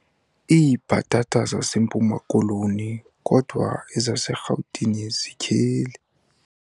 Iibhatata zaseMpuma-Koloni kodwa ezaseRhawutini zityheli.